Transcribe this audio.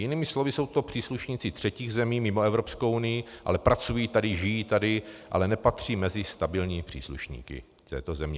Jinými slovy jsou to příslušníci třetích zemí mimo Evropskou unii, ale pracují tady, žijí tady, ale nepatří mezi stabilní příslušníky této země.